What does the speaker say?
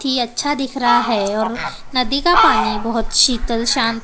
की अच्छा दिख रहा है और नदी का पानी बहोत शीतल शान्त--